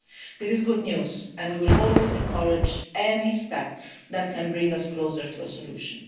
This is good news, and we will always encourage any step that can bring us closer to a solution.